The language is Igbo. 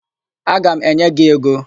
Aga m enye gị ego.